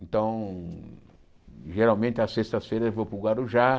Então, geralmente, às sextas-feiras eu vou para o Guarujá.